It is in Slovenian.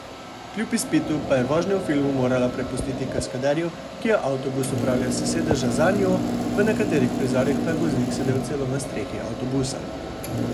Kljub izpitu pa je vožnjo v filmu morala prepustiti kaskaderju, ki je avtobus upravljal s sedeža za njo, v nekaterih prizorih pa je voznik sedel celo na strehi avtobusa.